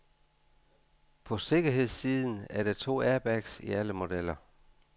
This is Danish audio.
På sikkerhedssiden er der to airbags i alle modeller.